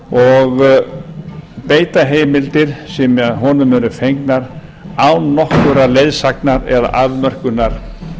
og beita heimildum sem honum eru fengnar án nokkurrar leiðsagnar eða afmörkunar